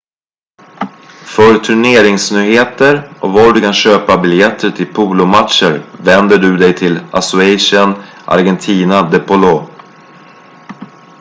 för turneringsnyheter och var du kan köpa biljetter till polomatcher vänder du dig till asociacion argentina de polo